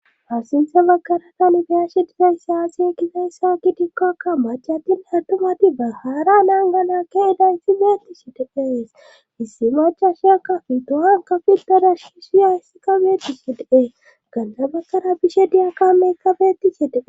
haa sinte bakara tani beyashe dizayssi aaze gizayssa gidikokka machatinne attuumati bahaara naan gana keedaysi meetti de7ees issi machasha kafi to7an kafildedash ki shiyayssi kabeti sideee ganta bagara bishe diya kameeka betishe de7e